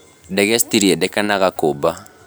Ndege citirĩendekanaga kũmba